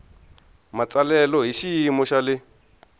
matsalelo hi xiyimo xa le